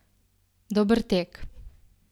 Dober tek!